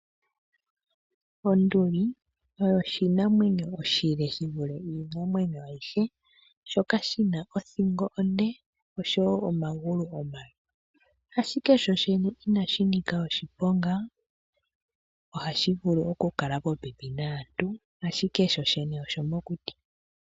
Onduli oyo oshinamwanyo oshile shi vule iinamwenyo ayihe, shoka shi na othingo onde oshowo omagulu omale, ashike sho shene inashi nika oshiponga ohashi vulu oku kala popepi naantu, ashike sho shene oshomokuti.